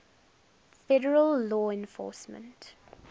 federal law enforcement